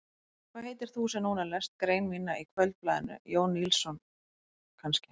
Hvað heitir þú sem núna lest grein mína í Kvöldblaðinu, Jón Níelsson kannski?